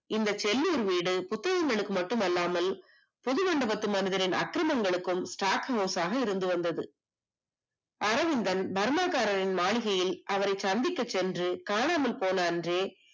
இந்த செல்லூர் வீடு புத்தகங்களுக்கு மட்டுமல்லாமல் புது மண்டபத்து மனிதரை நக்கிரமங்களுக்கும் stock house ஆக இருந்து வந்தது அரவிந்தன் பர்மா காரரின் மாளிகையில் அவரை சந்திக்க சென்று காணாமல் போன அன்று